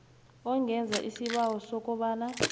ungenza isibawo sokobana